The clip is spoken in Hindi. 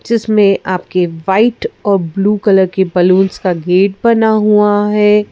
जिसमें आपके वाइट और ब्लू कलर के बलूंस का गेट बना हुआ है।